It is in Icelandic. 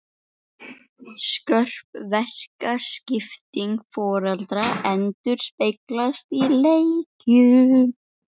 Skörp verkaskipting foreldra endurspeglast í leikjum.